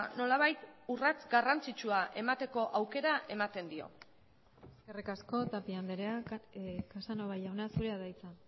nolabait urrats garrantzitsua emateko aukera ematen dio eskerrik asko tapia andrea casanova jauna zurea da hitza